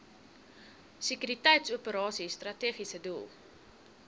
sekuriteitsoperasies strategiese doel